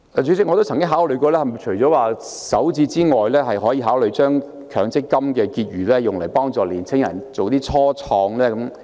主席，除了首置外，是否還可以考慮將強積金的結餘用於幫助年青人創業？